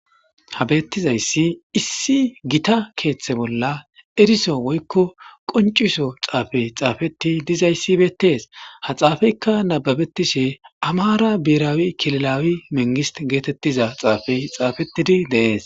Habettizayssi issi gita keeththe bolla eriso woykko qonciso xaafey xaafeti dizayssi beetees ha xaafeykka nababetishe amara biiraawi kililawi mengis geetettiza xaafey xaafetidi deees.